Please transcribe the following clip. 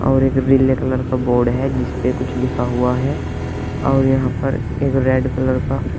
और एक रिले कलर का बोर्ड है जिसपे कुछ लिखा हुआ है और यहां पर एक रेड कलर का--